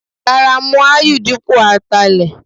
Rárá, mú Aáyù dípò Atalẹ.